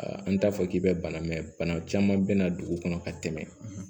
An t'a fɔ k'i bɛ bana mɛn bana caman bɛ na dugu kɔnɔ ka tɛmɛ